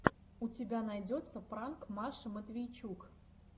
у тебя найдется пранк маши матвейчук